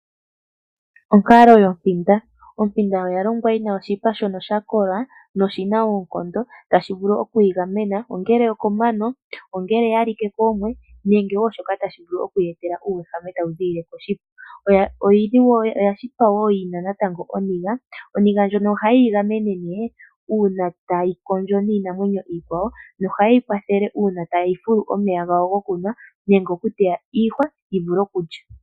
Onkalo yopinda, Opinda oyashitwa yina oshipa shono shakola noshina okondo tashivulu okwingamena ongele okomano ongele oyalike koomwe nenge wo shoka tashivulu okuyetela uwehame tawuzilile koshipa, oyashitwa wo natango yina oninga, oninga ndjono oha yeyi ngamene ne una tayikondjo ninamwenyo yikwawo yo ohayeyikwathele una tayi fulu omeya ngawo ngokunwa nenge okuteya iihwa yivule okulya.